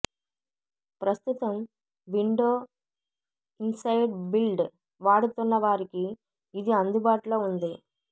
ప్రస్తుతం window insider build వాడుతున్న వారికి ఇది అందుబాటులో ఉంది